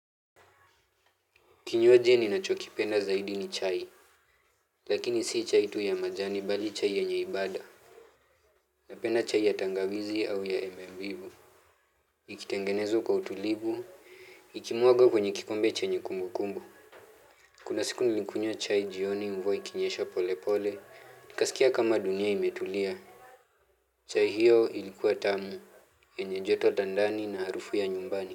Kinywaji ninachokipenda zaidi ni chai lakini si chai tu ya majani bali chai yenye ibada napenda chai ya tangawizi au yenye mbivu ikitengenezwa kwa utulivu, ikimwagwa kwenye kikombe chenye kumbukumbu kuna siku nilikunywa chai jioni mvua ikinyesha pole pole, nikaskia kama dunia imetulia chai hiyo ilikuwa tamu, yenye joto tandani na harufu ya nyumbani.